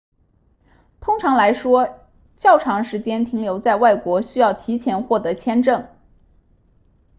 通常来说较长时间停留在外国需要提前获取签证